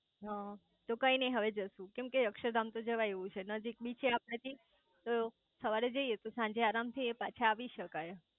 હ કઈ નઈ હવે જઈશું કેમ કે અક્ષરધામ તો જવાય એવું છે નજીક બી છે આપડા થી તો સવાર જઇયે તો સાંજે તો આરામ થી અહીંયા પાછા આવી શકાય